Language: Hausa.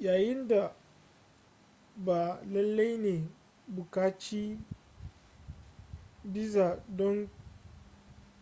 yayin da ba lalle ne ka buƙaci biza don